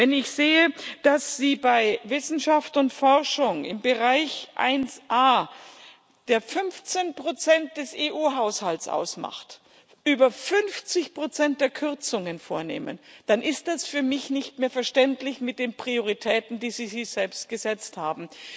Wenn ich sehe, dass Sie bei Wissenschaft und Forschung im Bereich 1a, der 15 des EU Haushalts ausmacht, über 50 der Kürzungen vornehmen, dann ist das für mich nicht mehr verständlich angesichts der Prioritäten, die Sie sich selbst gesetzt haben.